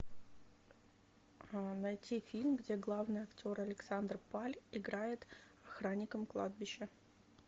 найти фильм где главный актер александр паль играет охранника кладбища